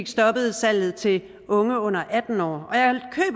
stoppet salget til unge under atten år